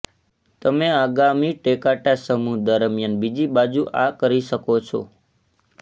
તમે આગામી ટેકાટા સમૂહ દરમિયાન બીજી બાજુ આ કરી શકો છો